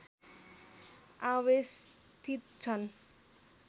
आवेष्टित छन्